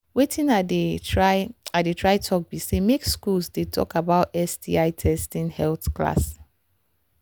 watin i they try i they try talk be say make school they talk about sti testing health class